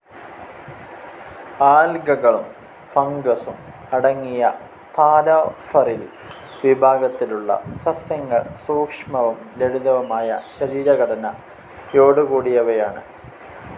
ആല്ഗകളും ഫണ്ഗ്സും അടങ്ങിയ താലോഫറിൽ വിഭാഗത്തിലുള്ള സസ്യങ്ങൾ സൂക്ഷ്മവും ലളിതവുമായ ശരീരഘടനയോടുകൂടിയവയാണ്.